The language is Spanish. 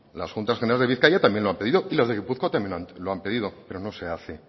las juntas generales de bizkaia también lo han pedido y los de gipuzkoa también lo han pedido pero no se hace